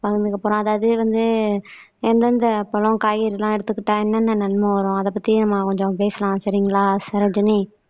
பகிர்ந்துக்க போறோம் அதாவது வந்து எந்தெந்த பழம் காய்கறி எல்லாம் எடுத்துக்கிட்டா என்னென்ன நன்மை வரும் அதைப் பத்தி நம்ம கொஞ்சம் பேசலாம் சரிங்களா சரோஜனி